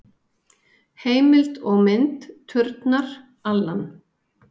Heimild og mynd: Turnar, Alan.